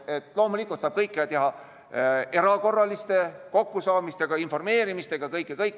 Loomulikult saab kõike teha erakorraliste kokkusaamistega, informeerimistega.